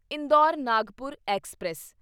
Indore Nagpur express